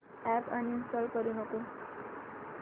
app uninstall करू नको